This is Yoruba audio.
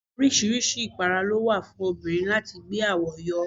Oríṣiríṣi ipara ló wà fún obìnrin láti gbé àwo yọ.